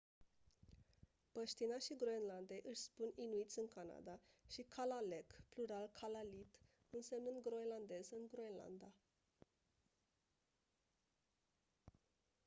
băștinașii groenlandei își spun inuiți în canada și kalaalleq plural kalaallit însemnând groenlandez în groenlanda